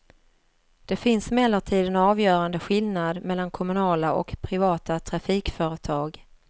Det finns emellertid en avgörande skillnad mellan kommunala och privata trafikföretag.